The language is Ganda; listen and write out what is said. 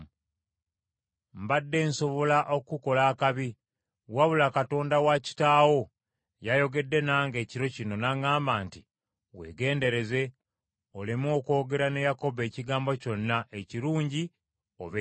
Mbadde nsobola okukukola akabi, wabula Katonda wa kitaawo yayogedde nange ekiro kino, n’aŋŋamba nti, ‘Weegendereze oleme okwogera ne Yakobo ekigambo kyonna, ekirungi oba ekibi.’